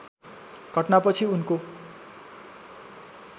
घटनापछि उनको